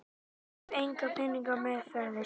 Ég hef enga peninga meðferðis.